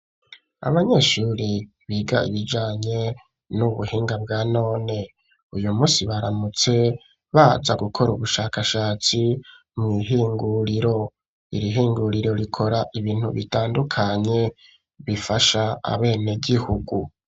Abanyeshuri, biga ibijanye n'ubuhinga, bwa none; uyu munsi baramutse, baza gukora, ubushakashatsi, mw'ihinguriro; iri hinguriro, rikora ibintu bitandukanye, bifasha abenegihugu.